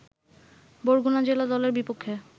বরগুনা জেলা দলের বিপক্ষে